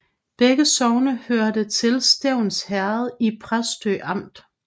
Begge sogne hørte til Stevns Herred i Præstø Amt